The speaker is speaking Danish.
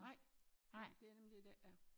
Nej det nemlig det det ikke er